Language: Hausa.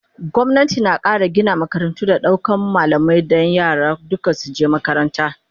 gwamnati na Kara Gina makarantu da daukan malamai Dan yara duka su je makaranta